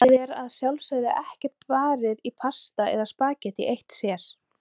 Það er að sjálfsögðu ekkert varið í pasta eða spaghetti eitt sér.